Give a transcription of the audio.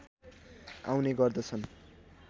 आउने गर्दछन्